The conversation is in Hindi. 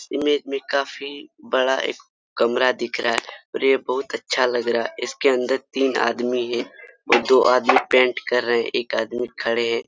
इस इमेज में काफी बड़ा एक कमरा दिख रहा है और ये बहुत अ च्छा लग रहा है इसके अंदर तीन आदमी हैं और दो आदमी पेंट कर रहे हैं एक आदमी खड़े हैं।